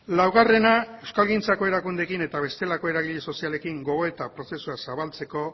laugarrena euskalgintzako erakundeekin eta bestelako eragile sozialekin gogoeta prozesua zabaltzeko